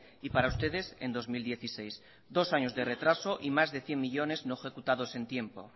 y para ustedes en dos mil dieciséis dos años de retraso y más de cien millónes no ejecutados en tiempo